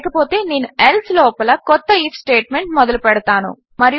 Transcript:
లేకపోతే నేను ఎల్సే లోపల కొత్త ఐఎఫ్ స్టేట్మెంట్ మొదలుపెడతాను